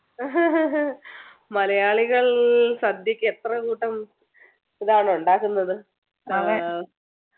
മലയാളികൾ സദ്യയ്ക്ക് എത്ര കൂട്ടം ഇതാണ് ഉണ്ടാക്കുന്നത് ആഹ്